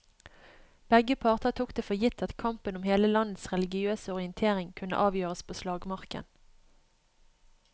Begge parter tok det for gitt at kampen om hele landets religiøse orientering kunne avgjøres på slagmarken.